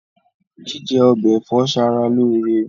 Jíjẹ ọbẹ ẹ̀fọ́ ṣara lóore.